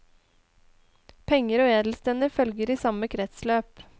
Penger og edelstener følger i samme kretsløp.